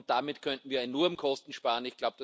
Damit könnten wir enorm Kosten sparen.